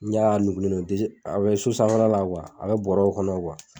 N y'a nugulen do a bɛ so sanfɛla la , a bɛ bɔrɔw kɔnɔ